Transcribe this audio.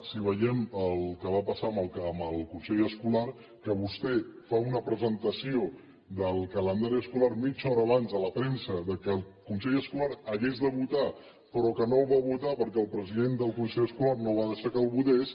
si veiem el que va passar amb el consell escolar que vostè fa una presentació del calendari escolar mitja hora abans a la premsa que el consell escolar hagués de votar però que no el va votar perquè el president del consell escolar no va deixar que el votés